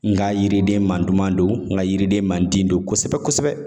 N ka yiriden man duman don n ka yiriden man di don kosɛbɛ-kosɛbɛ.